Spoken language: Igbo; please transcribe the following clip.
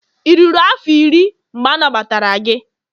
ị ruru afọ iri, mgbe anagbatara gị?